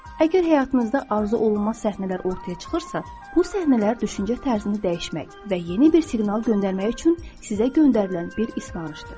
Əgər həyatınızda arzuolunmaz səhnələr ortaya çıxırsa, bu səhnələr düşüncə tərzini dəyişmək və yeni bir siqnal göndərmək üçün sizə göndərilən bir ismarışdır.